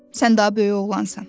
Sən daha böyük oğlansan.